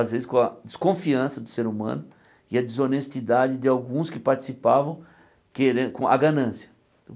Às vezes com a desconfiança do ser humano e a desonestidade de alguns que participavam queren com a ganância.